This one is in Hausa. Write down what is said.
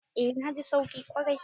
Eh na ji sauki kwarai.